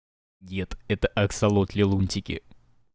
дед это аксолотли лунтики